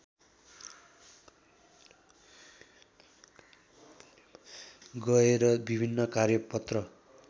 गएर विभिन्न कार्यपत्र